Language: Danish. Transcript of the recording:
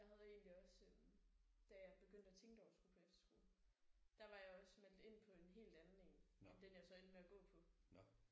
Jeg havde egentlig også da jeg begyndte at tænke over at skulle på efterskole der var jeg også meldt ind på en helt anden en end den jeg endte med at gå på